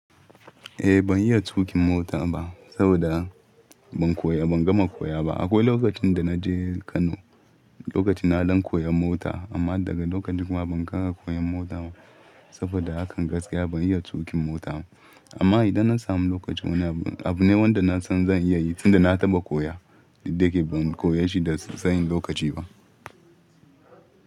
Eh ban iya tuƙin mota ba saboda ban koya, ban gama koya ba. Akwai lokacin da na je Kano, lokacin na don koya mota amma daga lokacin kuma ban ƙara koyon mota ba saboda hakan gaskiya ban iya tuƙin mota ba. Amma idan na sami lokaci wani abu, abu ne wanda na san zan iya yi tun da na taɓa koya, duk da ya ke ban koyashi da tsayin lokaci ba.